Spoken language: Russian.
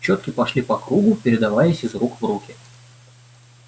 чётки прошли по кругу передаваясь из рук в руки